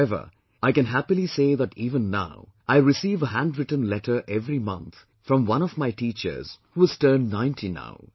However, I can happily say that even now I receive a hand written letter every month from one of my teachers, who has turned 90 now